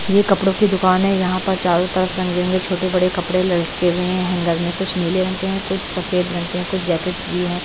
ये कपड़ों की दुकान है यहाँ पर चारों तरफ रंग-बिरंगे छोटे-बड़े कपड़े लटके हुए हैं हैंगर में कुछ नीले रंग के हैं कुछ सफेद रंग के हैं कुछ जैकेट्स भी हैं।